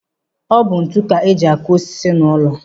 Ọ bụ ntu ka eji akụ osisi n'ụlọ.